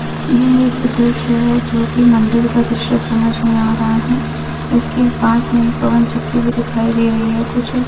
यह एक दृश्य जो की मंदिर का दृश्य समझ में आ रहा है इसके पास में एक पवन चक्की भी दिखाई दे रही है कुछ--